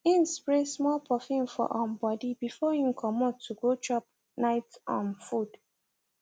im spray small perfume for um body before im comot to go chop night um food